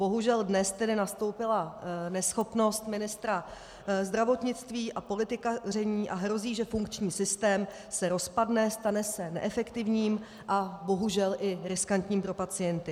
Bohužel dnes tedy nastoupila neschopnost ministra zdravotnictví a politikaření a hrozí, že funkční systém se rozpadne, stane se neefektivním a bohužel i riskantním pro pacienty.